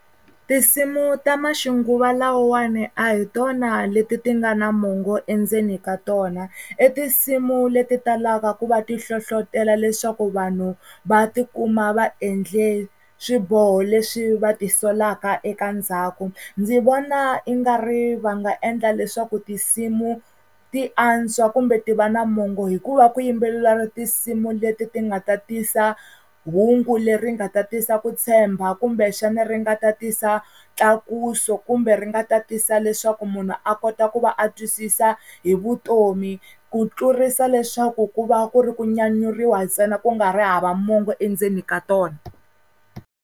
Tinsimu ta maxinguva lawawani a hi tona leti ti nga na mongo endzeni ka tona. I tinsimu leti talaka ku va ti hlohlotelo leswaku vanhu va tikuma va endle swiboho leswi va tisolaka eka ndzhaku. Ndzi vona i nga ri va nga endla leswaku tinsimu ti antswa kumbe ti va na mongo, hi ku va ku yimbeleliwa tinsimu leti ti nga ta tisa hungu leri nga ta tisa ku tshemba, kumbexani ri nga ta tisa tlakuso, kumbe ri nga ta tisa leswaku munhu a kota ku va a twisisa hi vutomi. Ku tlurisa leswaku ku va ku ri ku nyanyuriwa ntsena ku nga ri hava mongo endzeni ka tona.